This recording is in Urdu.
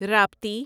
راپتی